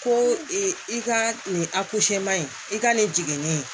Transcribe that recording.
Ko i ka nin in i ka nin jiginni